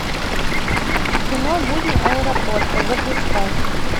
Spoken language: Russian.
кино будни аэропорта запускай